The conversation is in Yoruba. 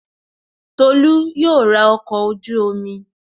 Tolú yóò ra ọkọ̀ ojú-omi